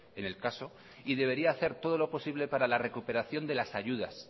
en el caso y debería hacer todo lo posible para la recuperación de las ayudas